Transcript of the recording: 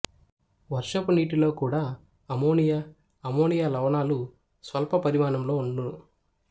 వర్షపు నీటిలో కూడా అమ్మోనియా అమ్మోనియా లవణాలు స్వల్ప పరిమాణంలో ఉండును